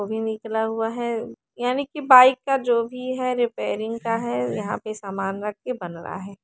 वो भी निकला हुआ है यानि की बाइक का जो भी है रिपेरिंग का है यहा पे सामान रख के बन रा है।